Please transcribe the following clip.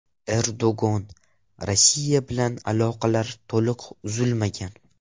Erdo‘g‘on: Rossiya bilan aloqalar to‘liq uzilmagan.